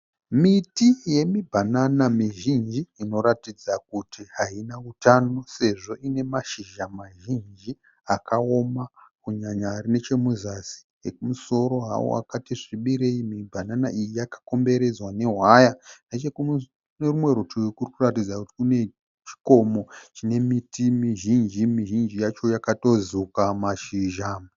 Miti yemibhanana mizhinji inoratidza kuti haina utano sezvo ine mashizha mazhinji akaoma kunyanya nechomuzasi ekumusoro hawo akati zvibirei. Mibhanana iyi yakakomberedzwa nehwaya. Nechekune rimwe rutivi kuri kuratidza kuti kune chikomo chine miti mizhinji. Mizhinji yacho yakatozuka mazhizha.